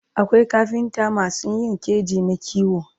akwai kafintamasu Yin keji na kiwo